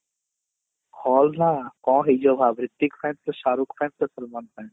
hall ନା କଣ ହେଇଯିବ Hrithik fan Shahrukh fan Salman fan